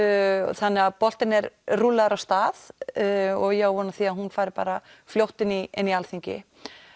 þannig boltinn er rúllaður af stað og ég á von á því að hún fari fljótt inn í inn í Alþingi